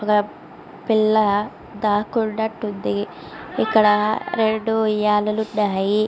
ఇక్కడ పిల్ల దాక్కున్నట్టుంది. ఇక్కడ రెండు ఉయ్యాలలో ఉన్నాయి.